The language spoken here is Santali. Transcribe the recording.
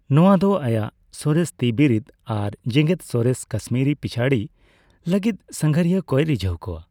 ᱱᱚᱣᱟ ᱫᱚ ᱟᱭᱟᱜ ᱥᱚᱨᱮᱥ ᱛᱤᱵᱤᱨᱤᱫ ᱟᱨ ᱡᱮᱜᱮᱫᱼᱥᱚᱨᱮᱥ ᱠᱟᱥᱢᱤᱨᱤ ᱯᱤᱪᱷᱟᱹᱲᱤ ᱞᱟᱹᱜᱤᱫ ᱥᱟᱸᱜᱷᱟᱨᱤᱭᱟ ᱠᱚᱭ ᱨᱤᱡᱷᱟᱹᱣ ᱠᱚᱣᱟ ᱾